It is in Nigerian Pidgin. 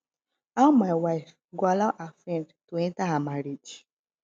how my wife go allow her friend to enter her marriage